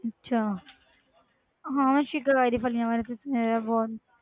ਅੱਛਾ ਹਾਂ ਸ਼ਿਕਾਕਾਈ ਦੀਆਂ ਫ਼ਲੀਆਂ ਬਾਰੇ ਤੇ ਸੁਣਿਆ ਹੋਇਆ ਬਹੁਤ।